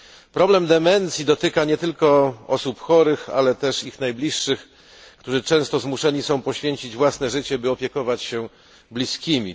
Problem demencji dotyka nie tylko osób chorych, ale także ich najbliższych, którzy często zmuszeni są poświęcić własne życie, by opiekować się bliskimi.